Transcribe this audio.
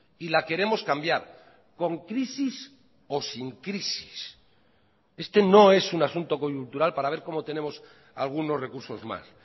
y la queremos cambiar con crisis o sin crisis este no es un asunto coyuntural para ver cómo tenemos algunos recursos más